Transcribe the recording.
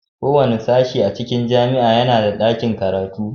Kowane sashe a cikin jami'a yana da ɗakin karatu